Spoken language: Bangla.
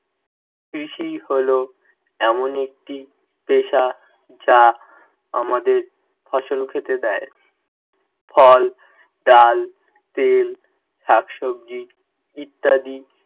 কৃষি হলো এমন একটি পেশা যা আমাদের ফসল খেতে দেয়। ফল, ডাল, তেল, শাকসবজি ইত্যাদি